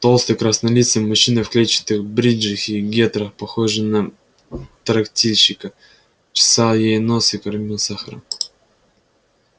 толстый краснолицый мужчина в клетчатых бриджах и гетрах похожий на трактирщика чесал ей нос и кормил сахаром